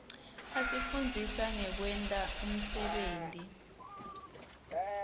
asifundzisa ngekwenta umsebenti